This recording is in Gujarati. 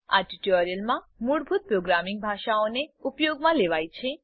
આ ટ્યુટોરીયલમાં મૂળભૂત પ્રોગ્રામિંગ પરિભાષાઓને ઉપયોગમાં લેવાય છે